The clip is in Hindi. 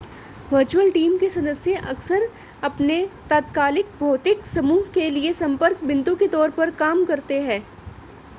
वर्चुअल टीम के सदस्य अक्सर अपने तात्कालिक भौतिक समूह के लिए संपर्क बिंदु के तौर पर काम करते हैं